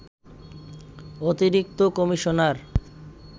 অতিরিক্ত কমিশনার